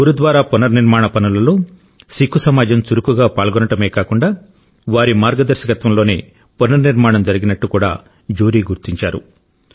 గురుద్వారా పునర్నిర్మాణ పనులలో సిక్కు సమాజం చురుకుగా పాల్గొనడమే కాకుండా వారి మార్గదర్శకత్వంలోనే పునర్నిర్మాణం జరిగినట్టు కూడా జ్యూరీ గుర్తించారు